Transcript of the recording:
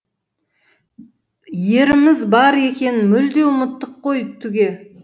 еріміз бар екенін мүлде ұмыттық қой түге